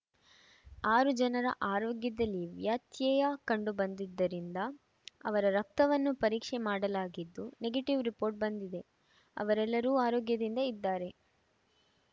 ಆರು ಜನರ ಆರೋಗ್ಯದಲ್ಲಿ ವ್ಯತ್ಯಯ ಕಂಡುಬಂದಿದ್ದರಿಂದ ಅವರ ರಕ್ತವನ್ನು ಪರೀಕ್ಷೆ ಮಾಡಲಾಗಿದ್ದು ನೆಗೆಟಿವ್‌ ರಿಪೋಟ್‌ ಬಂದಿದೆ ಅವರೆಲ್ಲರೂ ಆರೋಗ್ಯದಿಂದ ಇದ್ದಾರೆ